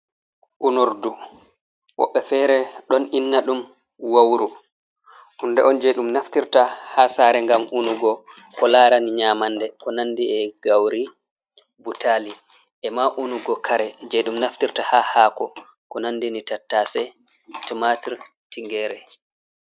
Unordu woɓɓe fere ɗon inna ɗum wawru, hunde on je ɗum naftirta ha sare ngam unugo ko larani nyamande, ko nandi e gauri, butali, ema unugo kare je ɗum naftirta ha hako ko nandi ni tattase, tomatur, tingere.